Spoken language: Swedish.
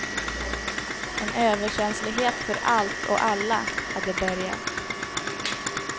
En överkänslighet för allt och alla hade börjat.